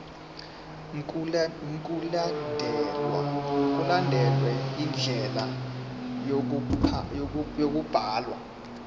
mkulandelwe indlela yokubhalwa